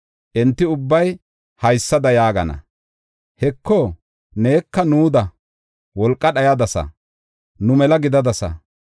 Enti ubbay haysada yaagana. “Heko neka nuuda wolqa dhayadasa; nu mela gidadasa.”